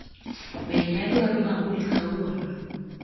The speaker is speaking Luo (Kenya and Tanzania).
Bende adwaro mabul kawuono